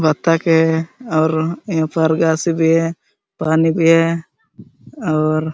बतक है और यहाँ पर घास सब भी है पानी भी है और--